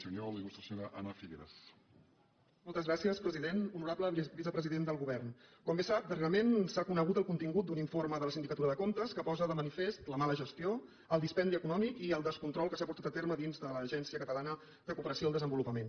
honorable vicepresident del govern com bé sap darrerament s’ha conegut el contingut d’un informe de la sindicatura de comptes que posa de manifest la mala gestió el dispendi econòmic i el descontrol que s’ha portat a terme dins de l’agencia catalana de cooperació al desenvolupament